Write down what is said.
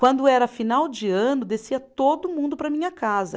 Quando era final de ano, descia todo mundo para a minha casa.